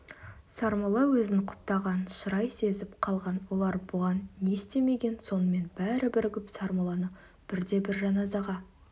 сармолла өзін құптаған шырай сезіп қалған олар бұған не істемеген сонымен бәрі бірігіп сармолланы бірде-бірі жаназаға